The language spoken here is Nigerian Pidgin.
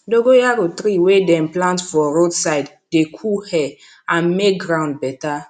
dogoyaro tree wey dem plant for road side dey cool air and make ground better